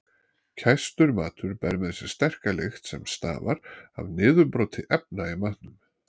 Kæstur matur ber með sér sterka lykt sem stafar af niðurbroti efna í matnum.